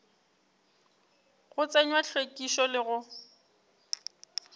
go tsenywa hlwekišo le go